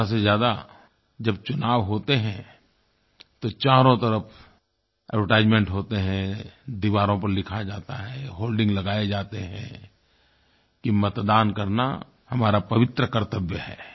ज्यादा से ज्यादा जब चुनाव होते हैं तो चारों तरफ़ एडवर्टाइजमेंट होते हैं दीवारों पर लिखा जाता है होर्डिंग्स लगाये जाते हैं कि मतदान करना हमारा पवित्र कर्तव्य है